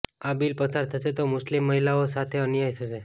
આ બિલ પસાર થશે તો મુસ્લિમ મહિલાઓ સાથે અન્યાય થશે